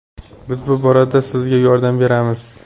Biz bu borada sizga yordam beramiz.